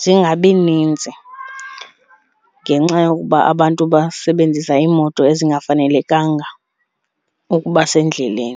zingabi ninzi ngenxa yokuba abantu basebenzisa iImoto ezingafanelekanga ukuba sendleleni.